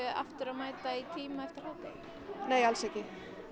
aftur í tíma eftir hádegi nei alls ekki